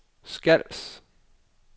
Skals